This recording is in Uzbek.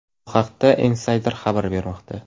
Bu haqda Insider xabar bermoqda .